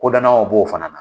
b'o fana na